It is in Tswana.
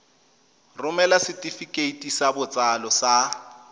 romela setefikeiti sa botsalo sa